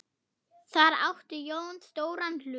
Þar átti Jón stóran hlut.